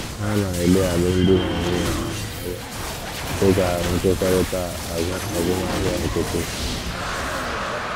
Ha na - ele alụmdi na nwunye ha anya dị ka nkwekọrịta azụmahịa nkịtị.